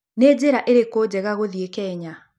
nĩ njĩra ĩrĩkũ njega gũthiĩ kenya